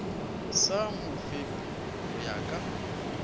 sa mofepi go ya ka